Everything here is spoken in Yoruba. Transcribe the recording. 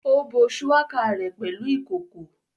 Ó bo shuwaka rẹ̀ pẹ̀lú ìkòkò